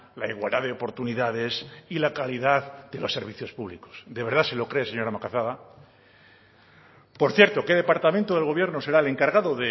la igualdad de oportunidades y la calidad de los servicios públicos de verdad se lo cree señora macazaga por cierto qué departamento del gobierno será el encargado